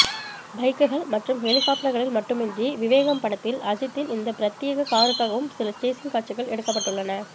பைக்குகள் மற்றும் ஹெலிகாப்டர்களில் மட்டுமின்றி விவேகம் படத்தில் அஜித்தின் இந்த பிரத்யேக காருக்காகவும் சில சேஸிங் காட்சிகள் எடுக்கப்பட்டுள்ளன